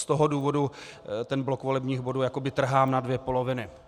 Z toho důvodu ten blok volebních bodů jakoby trhám na dvě poloviny.